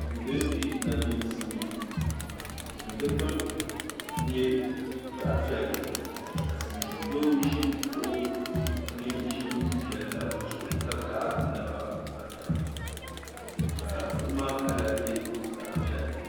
Duu dini di nachisi dini dukpuni nyɛ zaɣi piɛlli ka silimiin doo zi kuɣu dini zi n Jɛli la zuɣu ka kahi o naba pa taba ka kuɣu maa kala nyɛ zaɣi piɛlli.